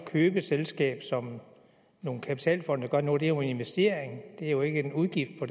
købe et selskab som nogle kapitalfonde gør nu er jo en investering det er jo ikke en udgift på